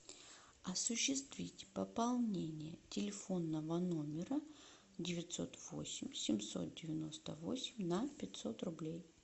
осуществить пополнение телефонного номера девятьсот восемь семьсот девяносто восемь на пятьсот рублей